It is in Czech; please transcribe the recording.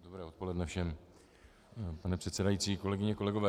Dobré odpoledne všem, pane předsedající, kolegyně, kolegové.